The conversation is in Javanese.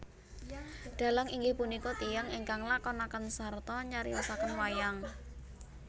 Dhalang inggih punika tiyang ingkang nglakonaken sarta nyariosaken wayang